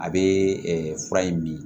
A bɛ fura in min